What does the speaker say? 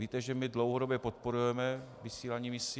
Víte, že my dlouhodobě podporujeme vysílání misí.